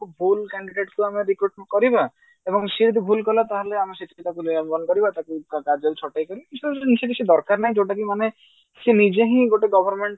ଭୁଲ candidate କୁ ଆମେ recruitment କରିବା ଏବଂ ସିଏ ଯଦି ଭୁଲ କଲା ତାହେଲେ ଆମେ ତାକୁ ନିଲମ୍ବନ କରିବା ତାକୁ କାର୍ଯ୍ୟରୁ ଛଟେଇ କରିବା ଏସବୁ ଜିନିଷ ଆମକୁ କିଛି ଦରକର ନାହିଁ ଯୋଉଟା କି ମାନେ ସେ ନିଜେ ହିଁ ଗୋଟେ government